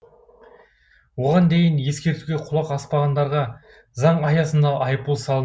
оған дейін ескертуге құлақ аспағандарға заң аясында айыппұл сал